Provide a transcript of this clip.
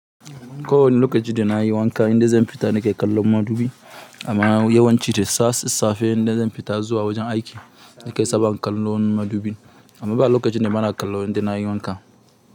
Ko wani lokaci da na yi wanka, inda zan fita nake kallon madubin. Amma yawanci, da safe inda zan fita zuwa wajen aiki nake saba kallon madubin. Amma ba lokacin da bana kallon indai nayi wanka.